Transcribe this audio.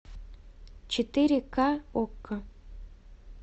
четыре ка окко